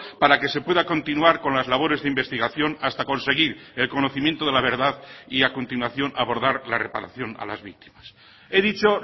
para que se pueda continuar con las labores de investigación hasta conseguir el conocimiento de la verdad y a continuación abordar la reparación a las víctimas he dicho